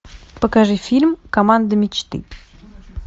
покажи фильм команда мечты